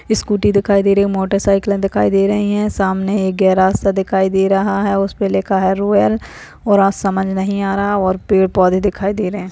Scooty दिखाई दे रही हैं मोटरसाइकिलें दिखाई दे रही हैं सामने एक गेराज सा दिखाई दे रहा है उसपे लिखा है रूएल और समझ नहीं आ रहा और पेड़ पौधे दिखाई दे रहे हैं।